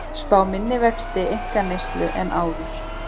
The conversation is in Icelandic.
Spá minni vexti einkaneyslu en áður